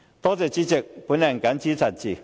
多謝主席，我謹此陳辭。